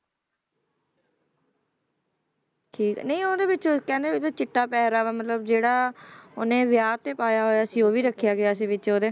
ਠੀਕ ਨਹੀਂ ਉਹਦੇ ਵਿੱਚ ਕਹਿੰਦੇ ਉਹਦੇ ਚਿੱਟਾ ਪਹਿਰਾਵਾ ਮਤਲਬ ਜਿਹੜਾ ਉਹਨੇ ਵਿਆਹ ਤੇ ਪਾਇਆ ਹੋਇਆ ਸੀ ਉਹ ਵੀ ਰੱਖਿਆ ਗਿਆ ਸੀ ਵਿੱਚ ਉਹਦੇ